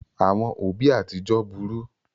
Àwọn òbí àtijọ burú.